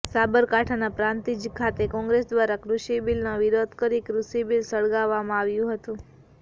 સાબરકાંઠાના પ્રાંતિજ ખાતે કોંગ્રેસ દ્વારા કુષિ બિલનો વિરોધ કરી કુષિ બિલ સળગાવવામાં આવ્યું હતું